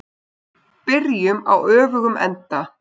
Byrjum á öfugum enda.